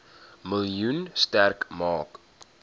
miljoen sterk maak